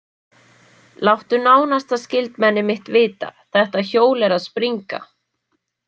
Láttu nánasta skyldmenni mitt vita, þetta hjól er að springa!